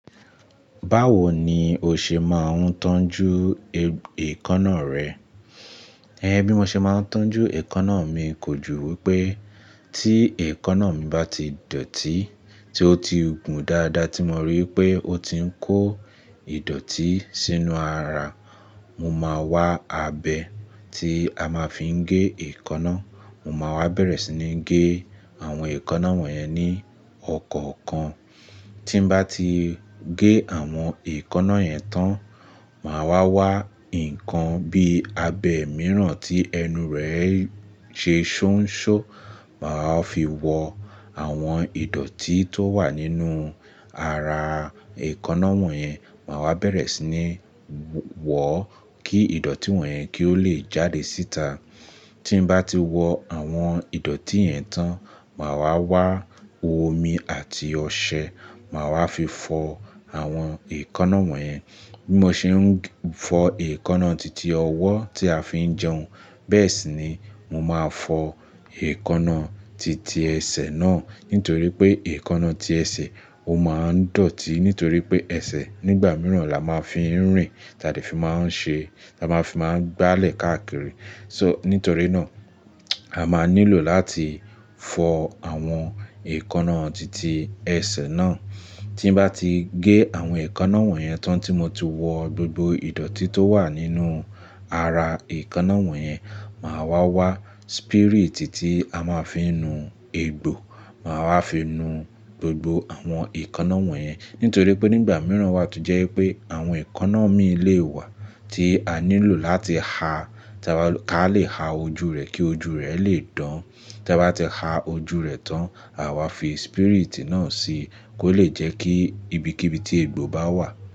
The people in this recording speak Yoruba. Báwo ni o ṣe máa ń tọ́jú èékánná rẹ? Ẹhn bí mo ṣe máa ń tọ́jú èékánná mi kò ju wípé tí èékánná mi bá ti dọ̀tí, tí ó ti gùn dáadáa tí mo rí pé ó ti ń kó ìdọ̀tí sínú ara, mo máa wá abẹ tí a máa fi ń gé èékánná, mo máa wá bẹ̀rẹ̀ sí ní gé àwọn èékánná wọ̀nyẹn ní ọ̀kọ̀ọ̀kan. Tí n bá ti gé àwọn èékánná yẹn tán, màá wá wá ǹkan bí abẹ mìíràn tí ẹnu rẹ̀ se ṣonṣó, màá fi wọ àwọn ìdọ̀tí tó wà nínú ara èékánná wọ̀nyẹn, màá wá bẹ̀rẹ̀ sí ní wọ̀ọ́ kí ìdọ̀tí wọ̀nyẹn kí ó le jáde síta. Tí n bá ti wọ àwọn ìdọ̀tí yẹn tán, màá wá wá omi àti ọṣẹ, màá wá fi fọ àwọn èékánná wọ̀nyẹn. Bí mo ṣe ń fọ èékánná titi ọwọ́ tí a fi ń jẹun, bẹ́ẹ̀ sì ni mo máa fọ èékánná titi ẹsẹ̀ náà. Nítorí pé èékánná ti ẹsẹ̀, ó máa ń dọ̀tí nítorí pé ẹsẹ̀ nígbà mìíràn la máa ń fi ń rìn, taà fi máa ń ṣe, taà fi máa ń gbálẹ̀ káàkiri. So nítorí náà, a máa nílò láti fọ àwọn èékánná titi ẹsẹ̀ náà. Tí n bá ti gé àwọn èékánná wọ̀nyẹn tán tí mo ti wọ gbogbo ìdọ̀tí tó wà nínú ara èékánná wọ̀nyẹn, màá wá wá spirit tí a máa fi ń nu egbò, màá wá fi nu gbogbo àwọn èékánná wọ̀nyẹn. Nítorí pé nígbà mìíràn wá tó jẹ́ pé àwọn èékánná mi lè wà tí a nílò láti ha, ká lè ha ojú rẹ̀ kí ojú rẹ̀ lè dán. Tí a bá ti ha ojú rẹ̀ tán, àwa fi spirit náà síi kó lè jẹ́ kí ibikíbi tí egbò bá wà.